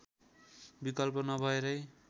विकल्प नपाएरै